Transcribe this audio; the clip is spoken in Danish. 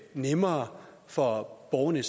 nemmere for borgerne